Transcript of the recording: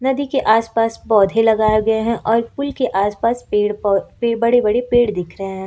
नदी के आसपास पौधे लगाए गए हैं और पुल के आसपास पेड़ पौ बड़े बड़े पेड़ दिख रहे हैं।